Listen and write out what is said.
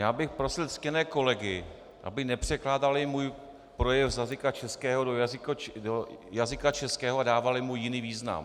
Já bych prosil ctěné kolegy, aby nepřekládali můj projev z jazyka českého do jazyka českého a dávali mu jiný význam.